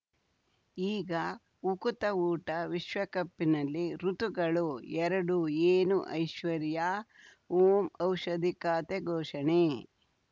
ಈಗ ಉಕುತ ಊಟ ವಿಶ್ವಕಪ್‌ನಲ್ಲಿ ಋತುಗಳು ಎರಡು ಏನು ಐಶ್ವರ್ಯಾ ಓಂ ಔಷಧಿ ಖಾತೆ ಘೋಷಣೆ